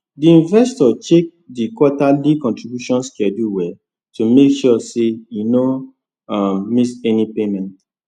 the investor check the quarterly contribution schedule well to make sure say e no um miss any payment